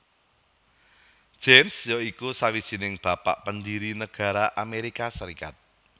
James ya iku sawijining Bapak Pendiri nagara Amerika Serikat